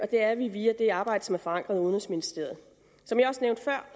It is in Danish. det er vi via det arbejde der er forankret i udenrigsministeriet som jeg også nævnte før